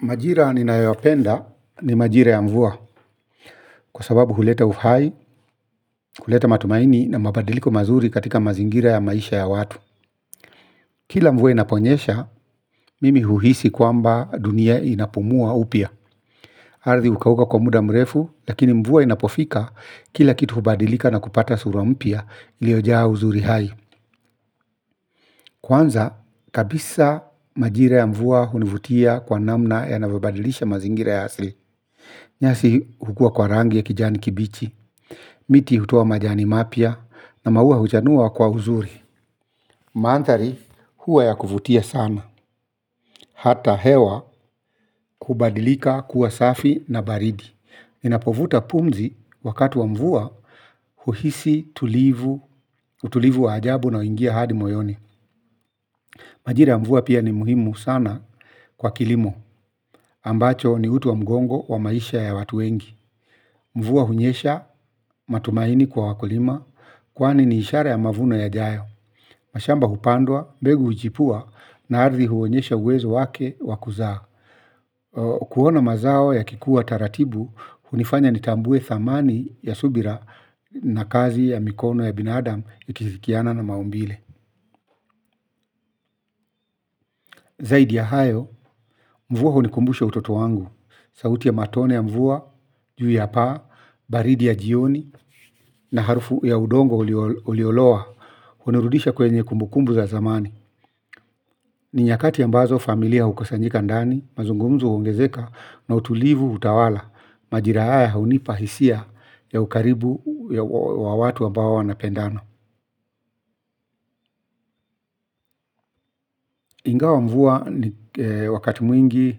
Majira ninayoyapenda ni majira ya mvua kwa sababu huleta uhai, huleta matumaini na mabadiliko mazuri katika mazingira ya maisha ya watu. Kila mvua inaponyesha, mimi uhisi kwamba dunia inapumua upya. Ardhi hukauka kwa muda mrefu, lakini mvua inapofika kila kitu hubadilika na kupata sura mpya iliyojaa uzuri hai. Kwanza, kabisa majira ya mvua hunivutia kwa namna yanavyobadilisha mazingira ya asili. Nyasi kukua kwa rangi ya kijani kibichi, miti hutoa majani mapya na maua huchanua kwa uzuri. Maandhari huwa ya kuvutia sana, hata hewa kubadilika kuwa safi na baridi. Ninapovuta pumzi wakati wa mvua uhisi tulivu, utulivu wa ajabu na huingia hadi moyoni. Majira ya mvua pia ni muhimu sana kwa kilimo, ambacho ni uti wa mgongo wa maisha ya watu wengi. Mvua hunyesha matumaini kwa wakulima. Kwani ni ishara ya mavuno yajayo. Mashamba hupandwa, mbegu huchipua. Na ardhi huonyesha uwezo wake wa kuzaa. Kuona mazao yakikuwa taratibu hunifanya nitambue dhamani ya subira na kazi ya mikono ya binadamu ikishirikiana na maumbile. Zaidi ya hayo, mvua hunikumbusha utoto wangu. Sauti ya matone ya mvua, juu ya paa, baridi ya jioni. Na harufu ya udongo uliolowa hunirudisha kwenye kumbukumbu za zamani. Ni nyakati ambazo familia hukusanyika ndani. Mazungumzo huongezeka na utulivu hutawala. Majira haya hunipa hisia ya ukaribu wa watu ambao wanapendana ingawa mvua wakati mwingi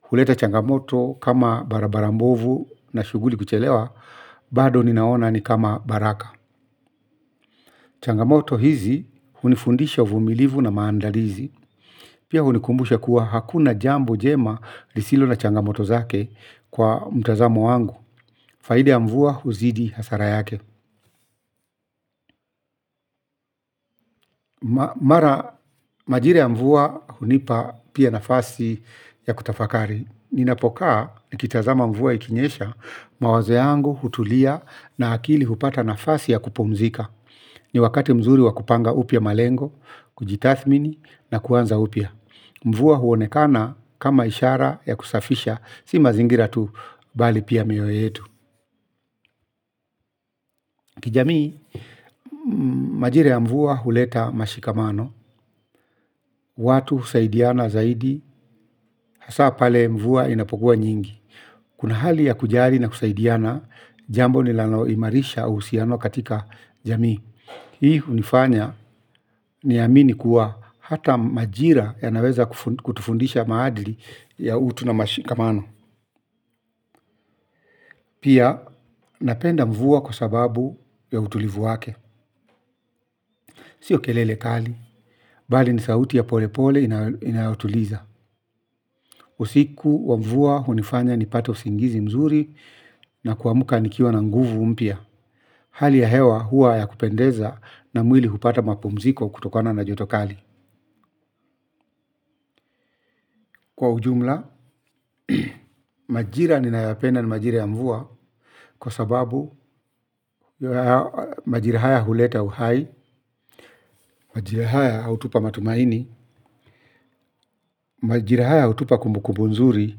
huleta changamoto kama barabara mbovu na shughuli kuchelewa. Bado ninaona ni kama baraka. Changamoto hizi hunifundisha uvumilivu na maandalizi. Pia hunikumbusha kuwa hakuna jambo njema lisilo na changamoto zake kwa mtazamo wangu. Faida ya mvua huzidi hasara yake. Mara majira ya mvua hunipa pia nafasi ya kutafakari. Ninapokaa nikitazama mvua ikinyesha mawazo yangu hutulia na akili hupata nafasi ya kupumzika. Ni wakati mzuri wa kupanga upya malengo, kujitathimini na kuanza upya. Mvua huonekana kama ishara ya kusafisha, si mazingira tu bali pia mioyo yetu. Kijamii, majira ya mvua huleta mashikamano, watu husaidiana zaidi, hasa pale mvua inapokuwa nyingi. Kuna hali ya kujali na kusaidiana, jambo linalo imarisha uhusiano katika jamii. Hii hunifanya niamini kuwa hata majira yanaweza kutufundisha maadili ya utu na mashikamano. Pia napenda mvua kwa sababu ya utulivu wake. Sio kelele kali. Bali ni sauti ya pole pole inayotuliza. Usiku wa mvua hunifanya nipate usingizi mzuri na kuamka nikiwa na nguvu mpya. Hali ya hewa huwa ya kupendeza na mwili hupata mapumziko kutokana na joto kali. Kwa ujumla, majira ninayapenda ni majira ya mvua kwa sababu majira haya huleta uhai, majira haya hutupa matumaini, majira haya hutupa kumbukumbu nzuri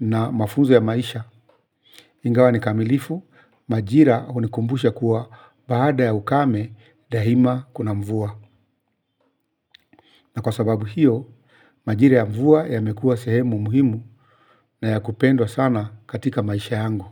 na mafunzo ya maisha. Ingawa ni kamilifu, majira hunikumbusha kuwa baada ya ukame daima kuna mvua. Na kwa sababu hiyo, majira ya mvua yamekuwa sehemu muhimu na ya kupendwa sana katika maisha yangu.